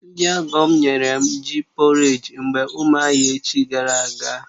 Ndị ọgọ̀ m nyere m ji pọréj mgbe ụmụahia echi gara aga